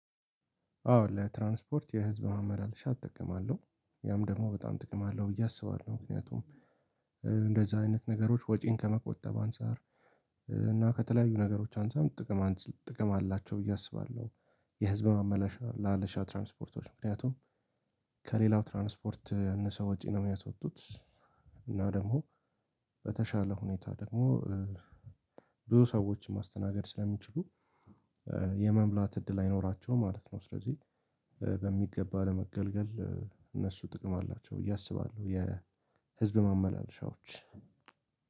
አዎ ለትራንስፖርት የህዝብ ማመላለሻ እጠቀማለሁ ያም ደግሞ በጣም ጥቅም አለው ብዬ አስባለሁ ምክንያቱም እንደዛ አይነት ነገሮች ወጪን ከመቆጠብ አንፃር እና ከተለያዩ ነገሮች አንፃርም ጥቅም ጥቅም አላቸው ብዬ አስባለሁ። የህዝብ ማመላለሻ ትራንስፖርቶች ምክንያቱም ከሌላው ትራንስፖርት ያእነሰ ወጪ ነው እሚያስወጡት። እና ደግሞ በተሻለ ሁኔታ ደግሞ ብዙ ሰዎችን ማስተናገድ ስለሚችሉ የመሙላት እድል አይኖራቸውም ማለት ነው። ስለዚህ በሚገባ ለመገልገል እነሱ ጥቅም አላቸው ብዬ አስባለሁ። የህዝብ ማመላለሻዎች።